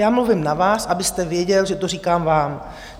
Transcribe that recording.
Já mluvím na vás, abyste věděl, že to říkám vám.